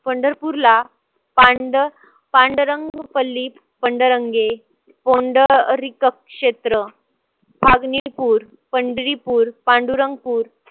पंढरपूरला पांडुरंग पल्ली पंडरंगे क्षेत्र फागणीपुर, पंढरीपूर, पांडुरंगपुर